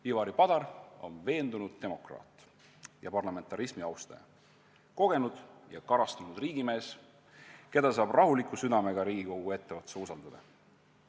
Ivari Padar on veendunud demokraat ja parlamentarismi austaja, kogenud ja karastunud riigimees, keda saab rahuliku südamega Riigikogu etteotsa usaldada.